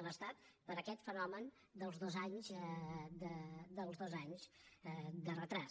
de l’estat per aquest fenomen dels dos anys de retard